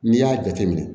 N'i y'a jateminɛ